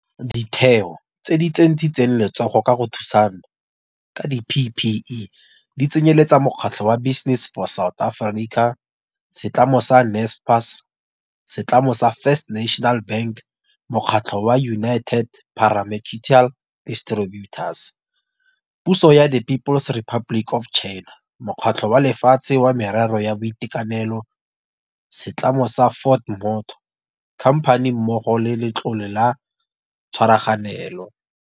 Ditheo tse di tsentshitseng letsogo ka go thusana ka di-PPE di tsenyele-tsa mokgatlho wa Business for South Africa, setlamo sa Naspers, setlamo sa First National Bank, mokgatlho wa United Pharmaceutical Distributors, puso ya the People's Republic of China, Mokgatlho wa Lefatshe wa Merero ya Boitekanelo, WHO, setlamo sa Ford Motor Company mmogo le Letlole la Tshwaraganelo.